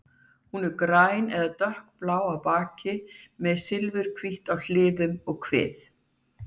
Hún er græn eða dökkblá á baki en silfurhvít á hliðum og kvið.